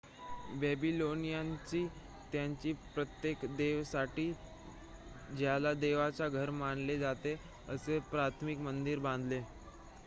बॅबीलोनियन्सनी त्यांच्या प्रत्येक देवतेसाठी ज्याला देवाचे घर मानले जाते असे प्राथमिक मंदिर बांधले